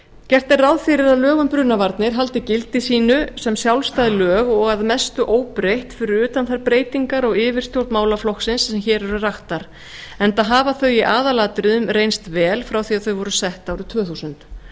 gert er ráð fyrir að lög um brunavarnir haldi gildi sínu sem sjálfstæð lög og að mestu óbreytt fyrir utan þær breytingar á yfirstjórn málaflokksins sem hér eru raktar enda hafa þau í aðalatriðum reynst vel frá því að þau voru sett árið tvö þúsund